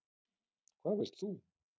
Hvað vilt þú?!